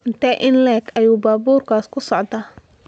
Intee in le'eg ayuu baabuurkaas ku socdaa?